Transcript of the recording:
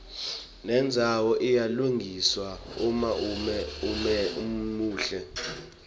nendzawo iyalungiswa uma umuhle